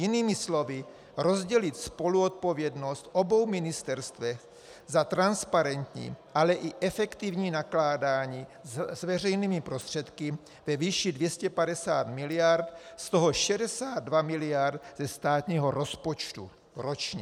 Jinými slovy, rozdělit spoluodpovědnost obou ministerstev za transparentní, ale i efektivní nakládání s veřejnými prostředky ve výši 250 miliard, z toho 62 miliard ze státního rozpočtu ročně.